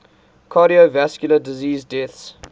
cardiovascular disease deaths